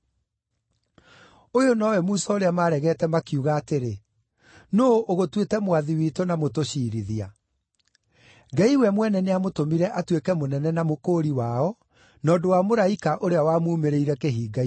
“Ũyũ nowe Musa ũrĩa maaregete makiuga atĩrĩ, ‘Nũũ ũgũtuĩte mwathi witũ na mũtũciirithia?’ Ngai we mwene nĩamũtũmire atuĩke mũnene na mũkũũri wao, na ũndũ wa mũraika ũrĩa wamuumĩrĩire kĩhinga-inĩ.